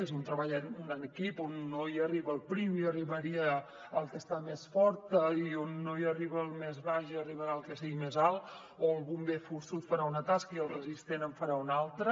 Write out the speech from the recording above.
és un treball d’equip on no hi arriba el prim hi arribarà el que està més fort i on no hi arriba el més baix hi arribarà el que sigui més alt o el bom·ber forçut farà una tasca i el resistent en farà una altra